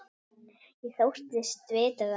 Ég þóttist vita það.